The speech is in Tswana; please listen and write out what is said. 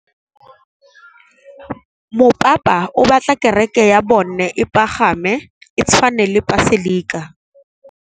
Mopapa o batla kereke ya bone e pagame, e tshwane le paselika.